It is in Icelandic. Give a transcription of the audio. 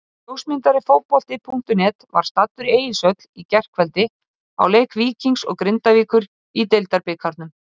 Ljósmyndari Fótbolti.net var staddur í Egilshöll í gærkvöldi á leik Víkings og Grindavíkur í Deildabikarnum.